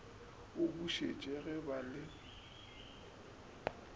o bušitše ge ba le